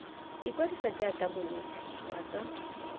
ikwadisa jaaka monetshi wa tsa